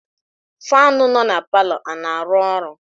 Faanụ nọ na palọ a na-arụ ọrụ?